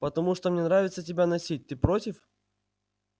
потому что мне нравится тебя носить ты против